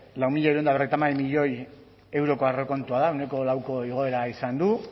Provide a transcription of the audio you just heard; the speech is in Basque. lau mila hirurehun eta berrogeita hamar milioi zero euroko aurrekontua da ehuneko lauko igoera izan du